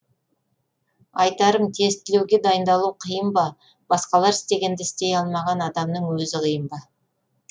айтарым тестілеуге дайындалу қиын ба басқалар істегенді істей алмаған адамның өзі қиын ба